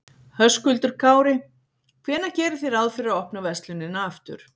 Höskuldur Kári: Hvenær gerið þið ráð fyrir því að opna verslunina aftur?